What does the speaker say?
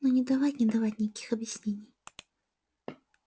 но не давать не давать никаких объяснений